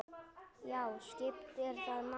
Já, skiptir það máli?